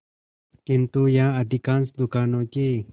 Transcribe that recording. किंतु यहाँ अधिकांश दुकानों के